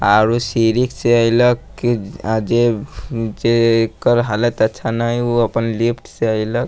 आउरु सीढ़ी से अइलख की जे जेकर हालत अच्छा ना इ उ अपन लिफ्ट से अइलख।